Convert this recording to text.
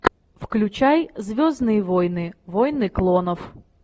включай звездные войны войны клонов